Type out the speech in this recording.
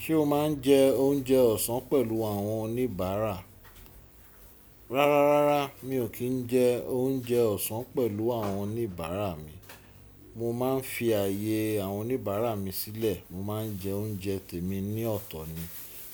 Ṣé o máa ń jẹ oúnjẹ ọ̀sán pẹ̀lú àwọn oníbàárà? Rárárárá mi ò kí ń jẹ oúnjẹ ọ̀sán pẹ̀lú àwọn oníbàárà mi. Mo máa ń fi ààyè àwọn oníbàárà mi sílẹ̀. Mo ma n jẹ oúnjẹ temi ní ọ̀tọ̀ ni.